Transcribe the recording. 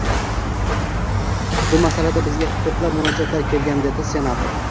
Bu masalada bizga ham ko‘plab murojaatlar kelgan”, dedi senator.